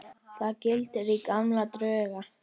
Þar glittir í gamla drauga.